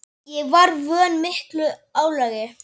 Ég var vön miklu álagi.